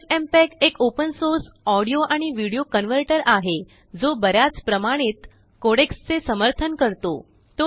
FFmpeg एक open source audio आणिविडियो converter आहेजो बऱ्याच प्रमाणितकोडेक्सचेसमर्थन करतो